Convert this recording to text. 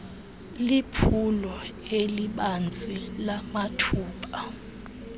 liphulo elibanzi lamathuba